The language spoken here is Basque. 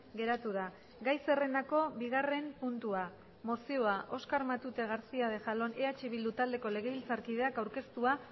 geratu da gai zerrendako bigarren puntua mozioa oskar matute garcía de jalón eh bildu taldeko legebiltzarkideak aurkeztua